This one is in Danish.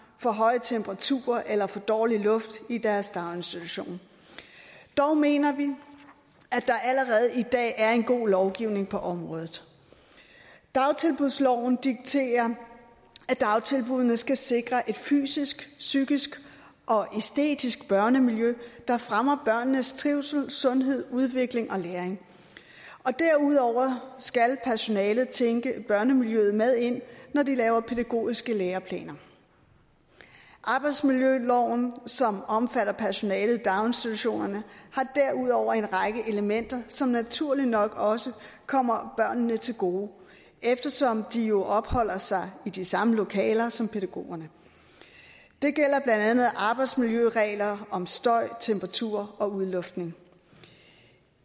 for høje temperaturer eller for dårlig luft i deres daginstitution dog mener vi at der allerede i dag er en god lovgivning på området dagtilbudsloven dikterer at dagtilbuddene skal sikre et fysisk psykisk og æstetisk børnemiljø der fremmer børnenes trivsel sundhed udvikling og læring derudover skal personalet tænke børnemiljøet med ind når de laver pædagogiske læreplaner arbejdsmiljøloven som omfatter personalet i daginstitutionerne har derudover en række elementer som naturligt nok også kommer børnene til gode eftersom de jo opholder sig i de samme lokaler som pædagogerne det gælder blandt andet arbejdsmiljøregler om støj temperatur og udluftning